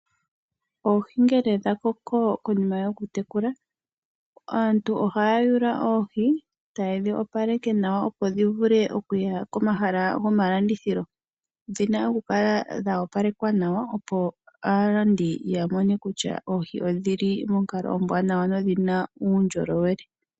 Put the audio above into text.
Oohi ngele dha koko konima yokudhi tekula. Aantu ohaya yula oohi taye dhi opaleke nawa opo dhi vule okuya ko mahala gomalandithilo. Odhina oku kala dha opalekwa nawa opo aalandi ya mone kutya oohi odhili monkalo ombwanawa nodhi na uundjolowele.